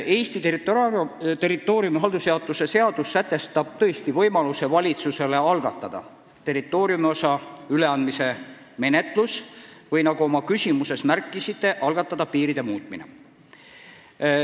Eesti territooriumi haldusjaotuse seadus sätestab tõesti võimaluse, et valitsus algatab territooriumiosa üleandmise menetluse ehk nagu te oma küsimuses märkisite, piiride muutmise.